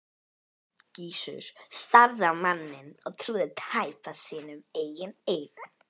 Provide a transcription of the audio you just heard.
Gizur starði á manninn og trúði tæpast sínum eigin eyrum.